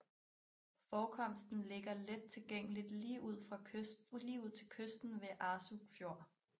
Forekomsten ligger lettilgængeligt lige ud til kysten ved Arsuk Fjord